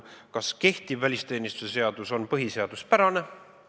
Kas kehtiv välisteenistuse seadus on põhiseaduspärane?